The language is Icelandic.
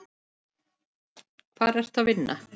Hvar ertu að vinna?